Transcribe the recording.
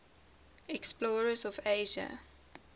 explorers of asia